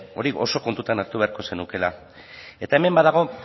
hori oso kontutan hartu beharko zenukeela eta hemen badago